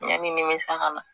Yanni nimisa ka na